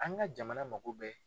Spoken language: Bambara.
An ka jamana mako bɛɛ